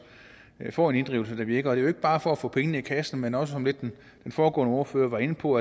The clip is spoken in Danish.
får en inddrivelse der virker det er jo ikke bare for at få penge i kassen men også som den foregående ordfører var inde på